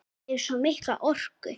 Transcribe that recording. Ég hef svo mikla orku.